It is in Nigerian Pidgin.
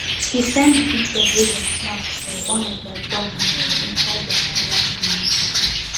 he send the pictures wey they snap for one of their dog meeting inside their online group